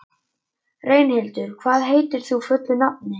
En ég var á förum til Moskvu.